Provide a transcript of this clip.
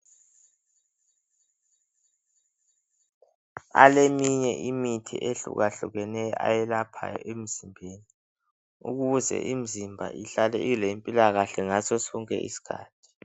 Aleminye imithi ehlukahlukeneyo ayelaphayo emzimbeni. Ukuze imzimba ihlale ilempilakahle ngaso sonke iskhathi.